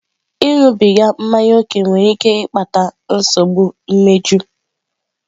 Ịṅụbiga mmanya ókè nwere ike ịkpata nsogbu imeju.